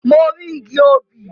Mo rí igi obì.